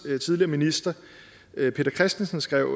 tidligere minister peter christensen skrev